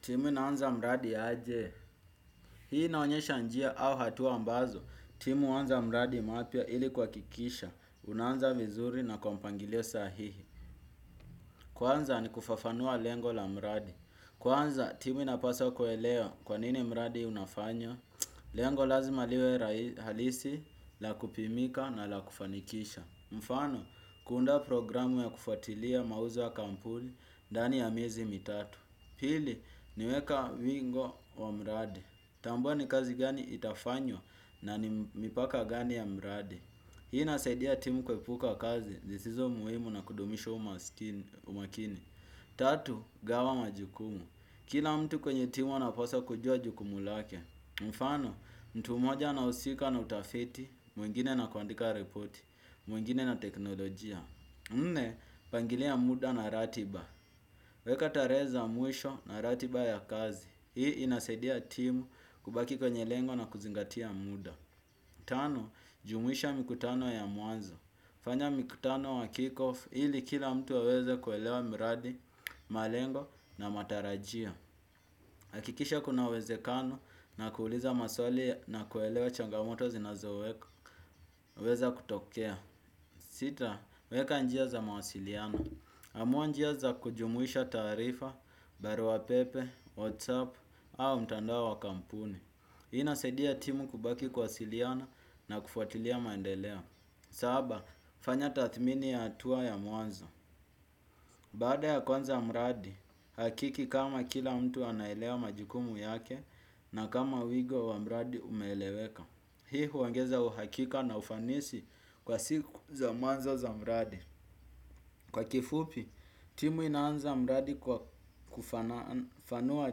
Timu inaanza mradi aje. Hii inaonyesha njia au hatua ambazo. Timu huanza mradi mpya ili kuhakikisha. Unaanza vizuri na kwa mpangilio sahihi. Kwanza ni kufafanua lengo la mradi. Kwanza timu inapaswa kuelea kwa nini mradi unafanywa. Lengo lazima liwe halisi, la kupimika na la kufanikisha. Mfano, kuunda programu ya kufatilia mauzo ya kampuni, ndani ya miezi mitatu. Pili, niweka wingo wa mradi. Tambua ni kazi gani itafanywa na ni mipaka ngani ya mradi. Hii inasaidia timu kuepuka kazi, zisizo muhimu na kudumisho umakini. Tatu, gawa majukumu. Kila mtu kwenye timu anapaswa kujua jukumu lake. Mfano, mtu mmoja anahusika na utafiti, mwingine na kuandika ripoti, mwingine na teknolojia. Nne, pangilia muda na ratiba. Weka tarehe za mwisho na ratiba ya kazi. Hii inasaidia timu kubaki kwenye lengo na kuzingatia muda. Tano, jumuisha mikutano ya mwanzo. Fanya mkutano wa kickoff ili kila mtu aweze kuelewa mradi, malengo na matarajia. Hakikisha kuna uwezekano na kuuliza maswali na kuelewa changamoto zinazoweza kutokea. Sita, weka njia za mawasiliano. Amua njia za kujumuisha taarifa, barua pepe, whatsapp, au mtandao wa kampuni. Hii inasaidia timu kubaki kuwasiliana na kufuatilia maendeleo. Saba, fanya tathmini ya hatua ya mwanzo. Baada ya kuanza mradi, hakiki kama kila mtu anaelea majukumu yake na kama wigo wa mradi umeeleweka. Hii huongeza uhakika na ufanisi kwa siku za mwanzo za mradi. Kwa kifupi, timu inaanza mradi kwa kufafanua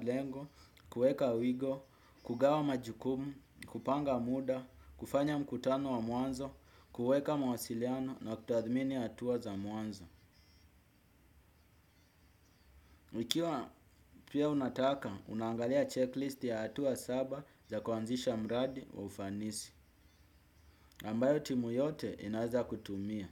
lengo, kueka wigo, kugawa majukumu, kupanga muda, kufanya mkutano wa mwanzo, kueka mawasiliano na kutathmini hatuwa za mwanzo. Ikiwa pia unataka, unaangalia checklist ya hatuwa saba za kuanzisha mradi wa ufanisi. Ambayo timu yote inaeza kutumia.